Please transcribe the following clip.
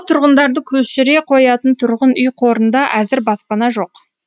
тұрғындарды көшіре қоятын тұрғын үй қорында әзір баспана жоқ